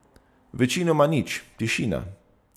Večinoma nič, tišina.